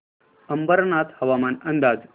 अंबरनाथ हवामान अंदाज